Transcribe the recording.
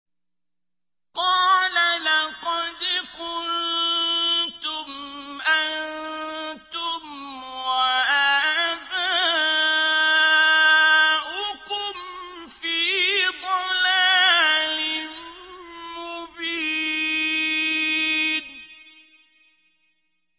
قَالَ لَقَدْ كُنتُمْ أَنتُمْ وَآبَاؤُكُمْ فِي ضَلَالٍ مُّبِينٍ